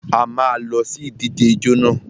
A má a lọ sí ìdíje ijó nà.